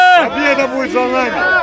Qalibiyyət bizimlə olacaq!